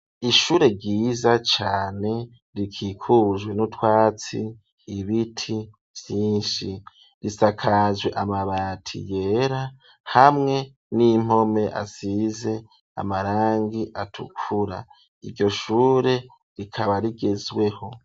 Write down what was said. Ishure ryiza cane rikikujwe n'utwatsi ibiti vyinshi risakazwe amabati yera hamwe n'impome asize amarangi atukura iryo shure rikaba rigezweho